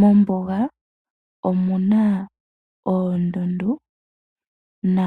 Mombuga omu na oondundu, na